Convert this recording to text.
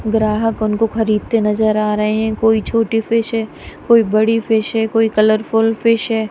ग्राहक उनको खरीदते नजर आ रहे हैं कोई छोटी फिश है कोई बड़ी फिश है कोई कलरफुल फिश है।